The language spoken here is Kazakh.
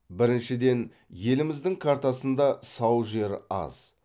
біріншіден еліміздің картасында сау жер аз